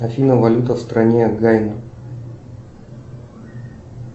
афина валюта в стране гайана